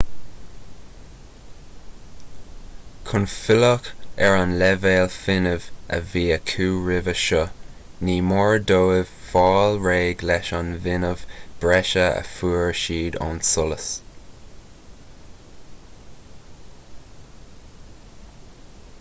chun filleadh ar an leibhéal fuinnimh a bhí acu roimhe seo ní mór dóibh fáil réidh leis an bhfuinneamh breise a fuair siad ón solas